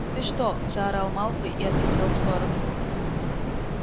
ты что заорал малфой и отлетел в сторону